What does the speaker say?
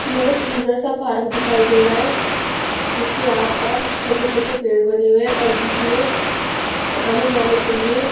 यह एक सुंदर सा पार्क दिखाई दे रहा है जिसके आसपास छोटे-छोटे पेड़ बने हुए हैं और बीच में आने जाने के लिए--